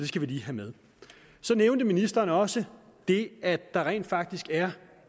skal vi lige have med så nævnte ministeren også det at der rent faktisk er